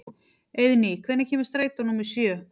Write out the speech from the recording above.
Eiðný, hvenær kemur strætó númer sjö?